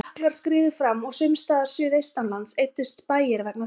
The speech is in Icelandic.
Jöklar skriðu fram og sums staðar suðaustanlands eyddust bæir vegna þessa.